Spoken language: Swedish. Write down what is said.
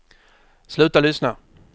sluta lyssna